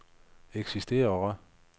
eksisterer